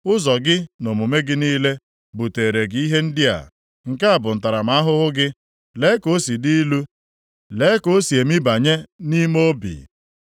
“Ụzọ gị na omume gị niile buteere gị ihe ndị a. Nke a bụ ntaramahụhụ gị. Lee ka o si dị ilu! Lee ka o si emibanye nʼime obi.”